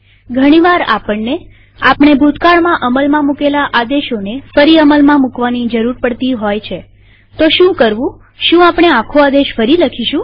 ઘણીવાર આપણનેઆપણે ભૂતકાળમાં અમલમાં મુકેલા આદેશોને ફરી અમલમાં મુકવાની જરૂર પડતી હોય છેતો શું કરવુંશું આપણે આખો આદેશ ફરી લખીશું